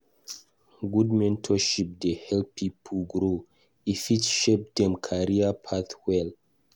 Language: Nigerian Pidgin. Good mentorship dey help pipo grow; e fit shape dem career path well.